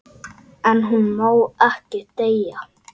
En hún má ekki deyja.